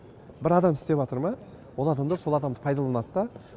бір адам істеватыр ма ол адамдар сол адамды пайдаланады да